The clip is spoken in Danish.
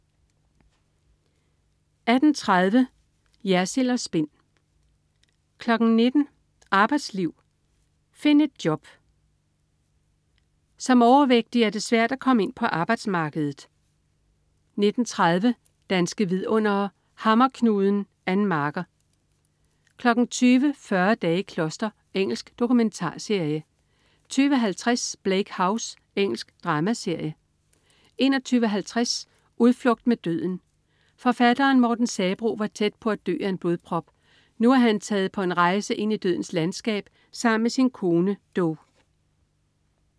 18.30 Jersild & Spin* 19.00 Arbejdsliv. Find et job! Som overvægtig er det svært at komme ind på arbejdsmarkedet 19.30 Danske vidundere: Hammerknuden. Ann Marker 20.00 Fyrre dage i kloster. Engelsk dokumentarserie 20.50 Bleak House. Engelsk dramaserie 21.50 Udflugt med døden. Forfatteren Morten Sabroe var tæt på at dø af en blodprop. Nu er han taget på en rejse ind i dødens landskab sammen med sin kone, Do